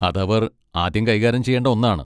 അത് അവർ ആദ്യം കൈകാര്യം ചെയ്യേണ്ട ഒന്നാണ്.